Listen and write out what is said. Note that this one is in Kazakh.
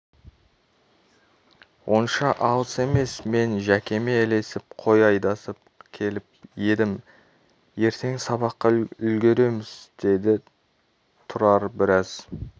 онша алыс емес мен жәкеме ілесіп қой айдасып келіп едім ертең сабаққа үлгіреміз деді тұрар біраз